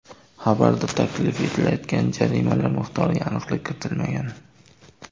Xabarda taklif etilayotgan jarimalar miqdoriga aniqlik kiritilmagan.